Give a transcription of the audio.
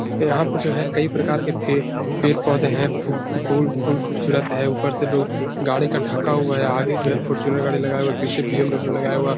इसके यहाँ पे जो है कई प्रकार के फे पेड़-पौधे हैं। फुक फुकुल फूल खूबसूरत हैं। ऊपर से लोग गाड़ी को ढाका हुआ है। आगे जो है फॉर्च्यूनर गाड़ी लगा हुआ है। पीछे बी. एम. डब्लू. लगाया हुआ।